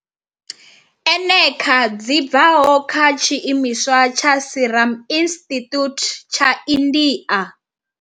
eneca dzi bvaho kha tshiimiswa tsha Serum Institute tsha India.